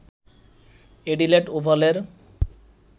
Adelaide ওভালের